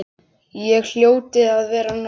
Ég hljóti að vera norn.